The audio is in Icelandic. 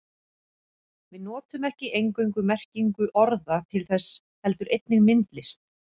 Við notum ekki eingöngu merkingu orða til þess heldur einnig myndlist.